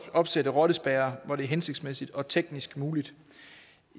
opsætte rottespærrer hvor det er hensigtsmæssigt og teknisk muligt